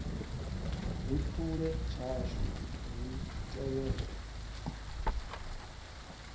ri phule tshashu ri tevhele